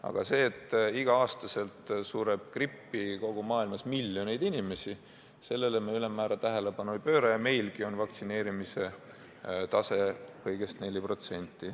Aga sellele, et igal aastal sureb kogu maailmas miljoneid inimesi grippi, me ülemäära tähelepanu ei pööra ja vaktsineerimise tase on meil kõigest 4%.